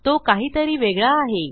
तो काहीतरी वेगळा आहे